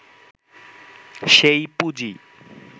সেই পুঁজি